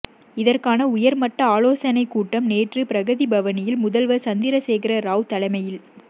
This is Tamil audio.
இதற்கான உயர்மட்ட ஆலோசனை கூட்டம் நேற்று பிரகதிபவனில் முதல்வர் சந்திரசேகர ராவ் தலைமையில்